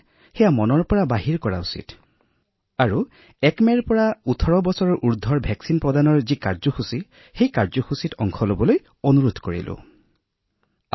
সেয়ে ইয়াৰ ক্ষেত্ৰত থকা ভুল ধাৰণাসমূহ আঁতৰাব লাগে আৰু ১ মেৰ পৰা সমগ্ৰ দেশতে ১৮ বছৰৰ ঊৰ্ধৰ লোকসকলৰ টীকাকৰণৰ কাম আৰম্ভ হব তেওঁলোককো আপীল কৰিছো আহক আপোনালোক আৰু প্ৰতিষেধক গ্ৰহণ কৰক